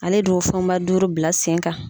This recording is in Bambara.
Ale de y'o fɛnba duuru bila sen kan.